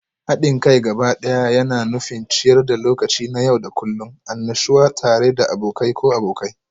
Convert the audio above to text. Haɗin kai gabaɗaya yana nufin ciyar da lokaci na yau da kullun, annashuwa tare da abokai ko abokai.